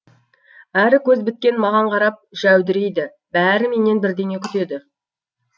әрі көз біткен маған қарап жәудірейді бәрі менен бірдеңе күтеді